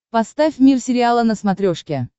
поставь мир сериала на смотрешке